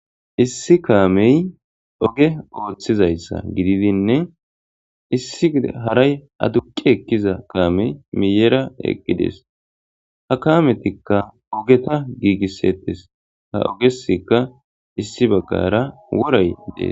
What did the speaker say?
issi kaamey oge ooththizayssa gididinne issi haray aduqi ekkiza kaame miyera eqqidees ha kametikka ogeta giigissettes ha ogesika issi baggara woray dees